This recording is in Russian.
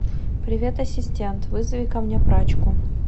привет ассистент вызови ко мне прачку